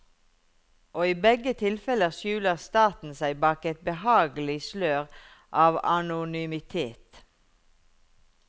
Og i begge tilfeller skjuler staten seg bak et behagelig slør av anonymitet.